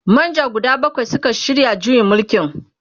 manjo guda bakwai Suka shirya juyin mulkin.